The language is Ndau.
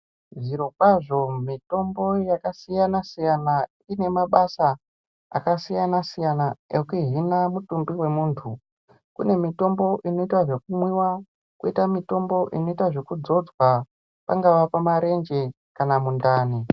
Zvirokwazvo mitombo yaksiyanasiyana ine mabasa akasiyasiyana ekuhina mutumbu wemunhu kunemitombo inoitwa zvekumwiwa ,koita mitombo inoitwa zvekudzodzwa pangaa pamarenje kana mundani.